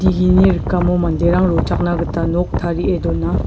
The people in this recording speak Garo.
ini rikamo manderang rochakna gita nok tarie dona.